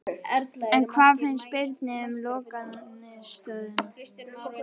En hvað fannst Birni um lokaniðurstöðuna?